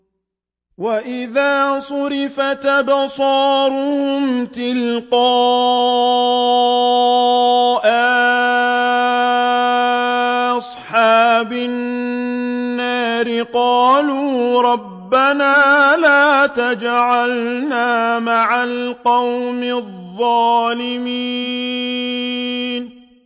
۞ وَإِذَا صُرِفَتْ أَبْصَارُهُمْ تِلْقَاءَ أَصْحَابِ النَّارِ قَالُوا رَبَّنَا لَا تَجْعَلْنَا مَعَ الْقَوْمِ الظَّالِمِينَ